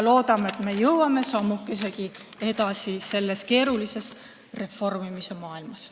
Loodame, et me jõuame sammukesegi edasi selles keerulises reformimise maailmas.